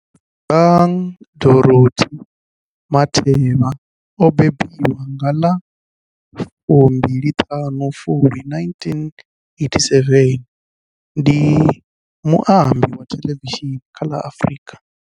Bonang Dorothy Matheba o mbembiwa nga ḽa 25 Fulwi 1987, ndi muambi wa thelevishini kha la Afrika.